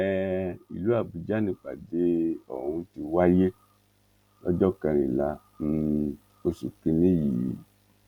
um ìlú àbújá nìpàdé ọ̀hún ti wáyé lọ́jọ́ kẹrìnlá um oṣù kìíní yìí